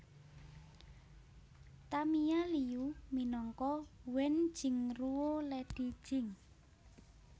Tamia Liu minangka Wen Jingruo Lady Jing